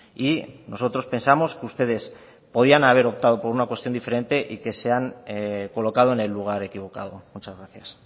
y nosotros pensamos que ustedes podían haber optado por una cuestión diferente y que se han colocado en el lugar equivocado muchas gracias